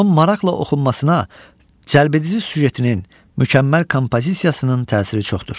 Onun maraqla oxunmasına cəlbedici süjetinin, mükəmməl kompozisiyasının təsiri çoxdur.